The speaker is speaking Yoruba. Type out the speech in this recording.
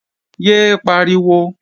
Yé é pariwo!